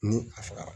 Ni a fagara